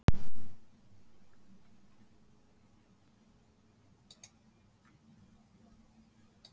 Það ætti að nægja þér, kvennabósinn þinn!